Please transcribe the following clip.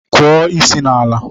Kụọ isi n'ala!